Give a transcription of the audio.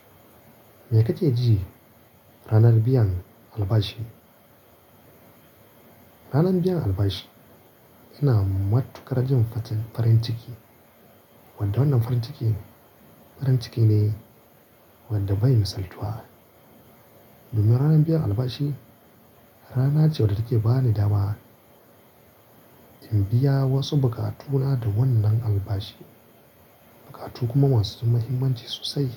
Me kake ji ranar biyan albashi? Ranar biyan albashi yana matu karajin facin farin ciki, wanda wannan farin ciki, farin ciki ne wanda bai misaltuwa. Domin ranar biyan albashi rana ce wadda take ba ni dama in biya wasu bukatuna da wannan albashi. Bukatu kuma ma su muhimmanci sosai.